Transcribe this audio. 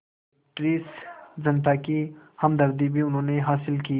British जनता की हमदर्दी भी उन्होंने हासिल की